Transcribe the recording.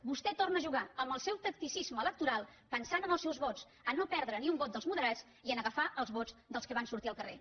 vostè torna a jugar amb el seu tacticisme electoral pensant en els seus vots a no perdre ni un vot dels moderats i a agafar els vots dels que van sortir al carrer